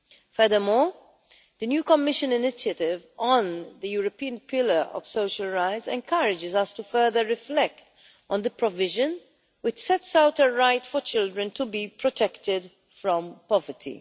Furthermore, the new Commission initiative on the European Pillar of Social Rights encourages us to further reflect on the provision which sets out a right for children to be protected from poverty.